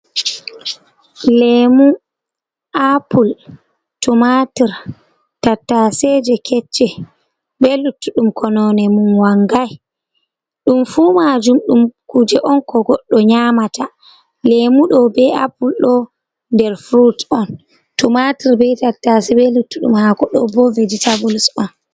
Lemu, appul, tomatur, tattaseje kecce be luttuɗum ko none mum wangai ɗum fu majum ɗum kuje on ko goɗɗo nyamata lemu ɗo be appul ɗo nder furut on tomatur be tattase be luttuɗum hako ɗo bo vegetabuls on.